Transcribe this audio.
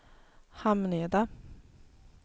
Hamneda